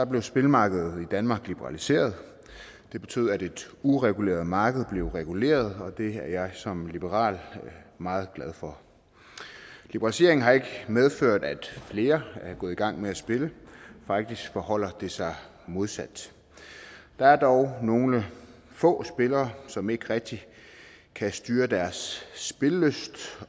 blev spillemarkedet i danmark liberaliseret det betyder at et ureguleret marked blev reguleret og det er jeg som liberal meget glad for liberaliseringen har ikke medført at flere er gået i gang med at spille faktisk forholder det sig modsat der er dog nogle få spillere som ikke rigtig kan styre deres spillelyst